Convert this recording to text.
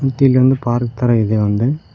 ಮತ್ತು ಇಲ್ಲೊಂದು ಪಾರ್ಕ್ ತರ ಇದೆ ಒಂದು.